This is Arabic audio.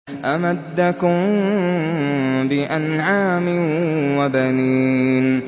أَمَدَّكُم بِأَنْعَامٍ وَبَنِينَ